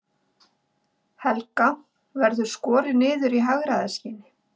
Helga: Verður skorið niður í hagræðingarskyni?